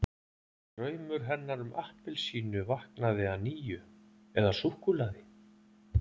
Draumur hennar um appelsínu vaknaði að nýju- eða súkkulaði!